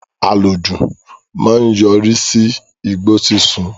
Àlòjù máa ń yọrí sí igbó sísun